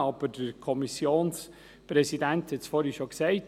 Aber der Kommissionspräsident hat es vorhin schon gesagt: